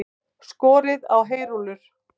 Skorið á heyrúllur